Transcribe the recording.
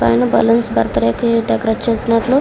పైన balloons birthday కి decorate చేసినట్లు.